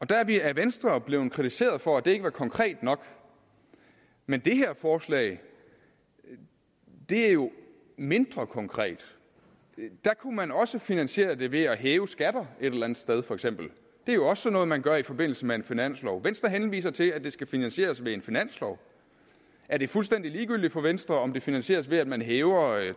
der er vi af venstre blevet kritiseret for at det ikke var konkret nok men det her forslag er jo mindre konkret der kunne man også finansiere det ved at hæve skatterne et eller andet sted for eksempel det er jo også sådan noget man gør i forbindelse med finansloven venstre henviser til at det skal finansieres ved en finanslov er det fuldstændig ligegyldigt for venstre om det finansieres ved at man hæver